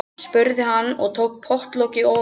spurði hann og tók pottlokið ofan.